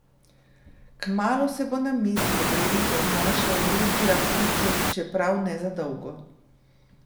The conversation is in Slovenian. Kmalu se bo na mizi pogrebnikov znašel Ruždija Kučuk, čeprav ne za dolgo.